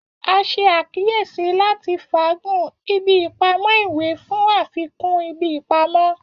A ṣe akiyesi lati faagun ibi ipamọ iwe fun afikun ibi ipamọ.